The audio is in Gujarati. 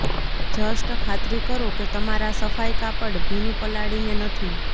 જસ્ટ ખાતરી કરો કે તમારા સફાઈ કાપડ ભીનું પલાળીને નથી